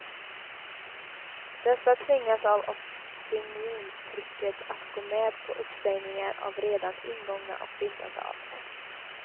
Dessa tvingas av opinionstrycket att gå med på uppsägningar av redan ingångna och bindande avtal.